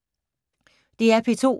DR P2